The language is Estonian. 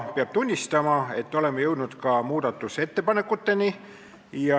Peab tunnistama, et oleme jõudnud ka muudatusettepanekuteni.